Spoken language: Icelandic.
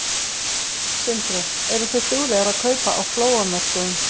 Sindri: Eru þið duglegar að kaupa á flóamörkuðum?